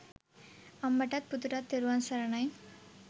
අම්මටත් පුතුටත් තෙරුවන් සරණයි